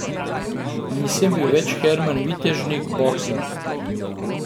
Nisem bil več Herman Vitežnik, boksar.